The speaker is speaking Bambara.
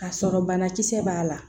K'a sɔrɔ banakisɛ b'a la